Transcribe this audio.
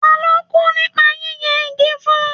Ta ló kú nípa yíyẹ igi fún?